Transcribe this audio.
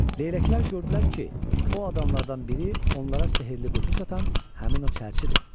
Leyləklər gördülər ki, o adamlardan biri onlara sehrli qutu satan həmin o çərçidir.